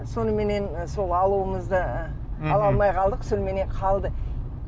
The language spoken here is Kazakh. соныменен сол алуымызды ала алмай қалдық соныменен қалды